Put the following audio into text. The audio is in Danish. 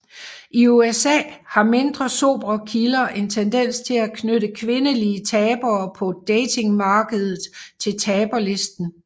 I USA har mindre sobre kilder en tendens til at knytte kvindelige tabere på datingmarkedet til taberlisten